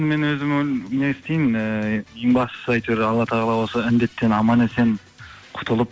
мен өзім не істеймін ііі ең бастысы әйтеуір алла тағала осы індеттен аман есен құтылып